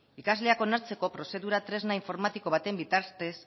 ikasleak onartzeko prozedura tresna informatiko baten bitartez